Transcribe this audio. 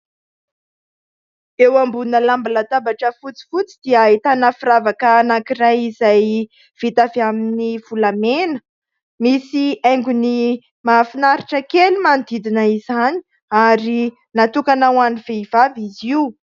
Eo ambonina lamban-databatra, fotsifotsy, dia ahitana firavaka anankiray, izay vita avy amin'ny volamena ; misy haingony mahafinaritra kely manodidina izany, ary natokana ho an'ny vehivavy izy io.